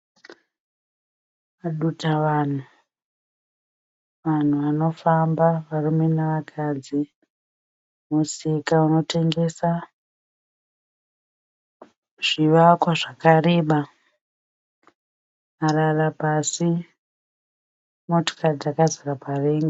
Dutavanhu. Vanhu vanofamba varume nevakadzi. Musika unotengesa. Zvivakwa zvakareba. Marara pasi. Motikari dzakazara parengi.